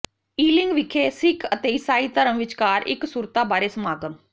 Ealing ਵਿਖੇ ਸਿੱਖ ਅਤੇ ਈਸਾਈ ਧਰਮ ਵਿਚਕਾਰ ਇਕਸੁਰਤਾ ਬਾਰੇ ਸਮਾਗਮ